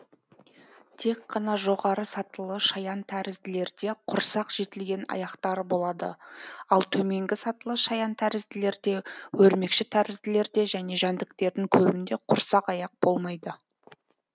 тек қана жоғары сатылы шаянтәрізділерде құрсақ жетілген аяқтары болады ал төменгі сатылы шаянтәрізділерде өрмекшітәрізділерде және жәндіктердің көбінде құрсақ аяқ болмайды